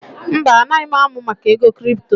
Mba, anaghị m amụ maka ego kripto